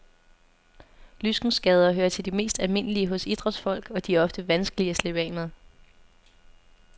Lyskenskader hører til de mest almindelige hos idrætsfolk, og de er ofte vanskelige at slippe af med.